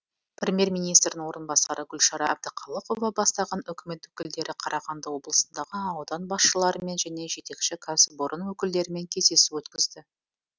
премьер министрдің орынбасары гүлшара әбдіқалықова бастаған үкімет өкілдері қарағанды облысындағы аудан басшыларымен және жетекші кәсіпорын өкілдерімен кездесу өткізді